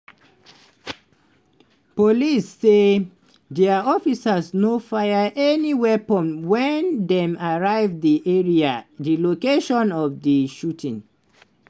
police say dia officers no fire any weapon wen dem arrive di area di location of di shooting.